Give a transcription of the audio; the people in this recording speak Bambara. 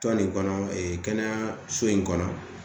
Tɔn nin kɔnɔ kɛnɛyaso in kɔnɔ